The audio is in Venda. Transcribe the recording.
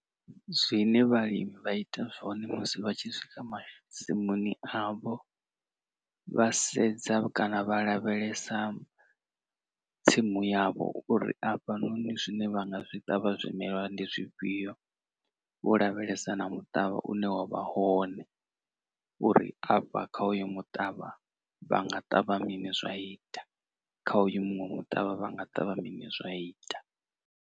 Zwine vhalimi vha ita zwone musi vha tshi swika masimuni avho vha sedza kana vha lavhelesa tsimu yavho uri afhanoni zwine vha nga zwi ṱavha zwimela ndi zwifhio vho lavhelesa na muṱavha une wavha hone uri afha kha uyo muṱavha vhanga ṱavha mini zwa ita, kha uyu muṅwe muṱavha vha nga ṱavha mini zwa ita.